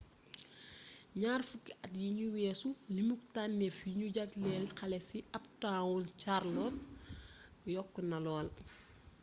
ñaar fukki at yinu weesu limuk tannéf yi ñu jaglel xale ci uptown charlotte yokkna lool